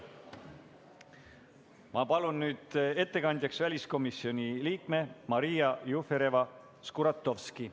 Ma palun ettekandjaks väliskomisjoni liikme Maria Jufereva-Skuratovski.